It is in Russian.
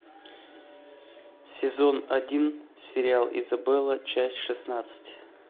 сезон один сериал изабелла часть шестнадцать